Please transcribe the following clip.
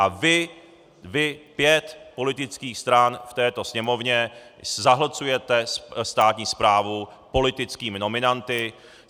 A vy, vy, pět politických stran v této Sněmovně, zahlcujete státní správu politickými nominanty.